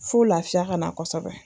Fo lafiya ka na kosɛbɛ